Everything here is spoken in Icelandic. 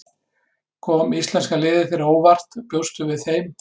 Kom íslenska liðið þér á óvart, bjóstu við þeim betri?